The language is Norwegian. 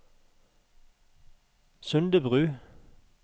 Sundebru